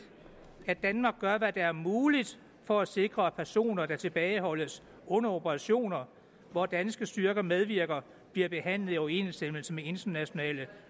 at danmark gør hvad der er muligt for at sikre at personer der tilbageholdes under operationer hvor danske styrker medvirker bliver behandlet i overensstemmelse med internationale